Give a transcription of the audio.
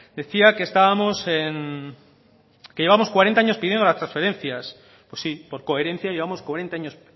decía que estábamos que llevamos cuarenta años pidiendo las transferencias pues sí por coherencia llevamos cuarenta años